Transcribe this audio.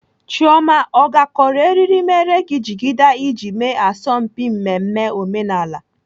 Chioma ọ gakọrọ eriri mere gị jigida iji eme asọmpi mmemme omenala?